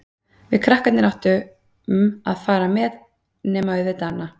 Við krakkarnir áttum að fá að fara með, nema auðvitað Anna.